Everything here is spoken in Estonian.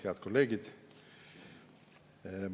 Head kolleegid!